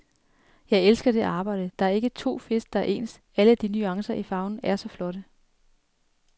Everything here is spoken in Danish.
Jeg elsker det arbejde, der er ikke to fisk, der er ens, alle de nuancer i farven er så flotte.